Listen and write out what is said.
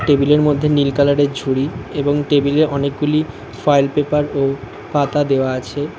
টেবিলের মধ্যে নীল কালারের ঝুড়ি এবং টেবিলে অনেকগুলি ফয়েল পেপার ও পাতা দেওয়া আছে।